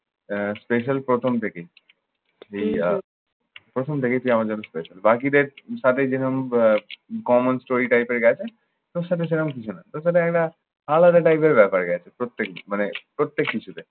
আহ special প্রথম থেকেই। এই আহ প্রথম থেকেই তুই আমার জন্য special বকিদের সাথে যেরকম আহ common story type এর গেছে তোর সাথে সেরকম কিছু না। তোর সাথে একটা আলাদা type এর ব্যাপার গেছে প্রত্যেক দিন মানে প্রত্যেক কিছুতে।